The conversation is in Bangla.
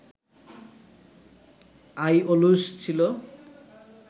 আইওলুস ছিল